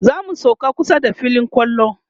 zamu sauka kusa da filin kwallo